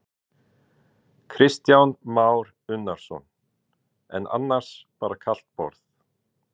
Kristján Már Unnarsson: En annars bara kalt borð?